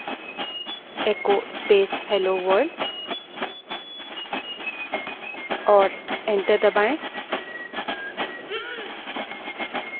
prompt पर echo space hello world type करें और enter दबायें